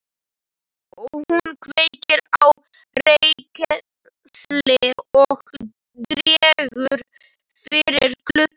Hún kveikir á reykelsi og dregur fyrir gluggana.